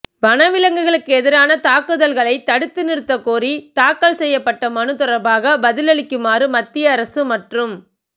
வன விலங்குகளுக்கு எதிரான தாக்குதல்களைத் தடுத்து நிறுத்தக் கோரி தாக்கல் செய்யப்பட்ட மனு தொடா்பாக பதிலளிக்குமாறு மத்திய அரசு மற்றும்